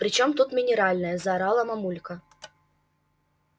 при чём тут минеральная заорала мамулька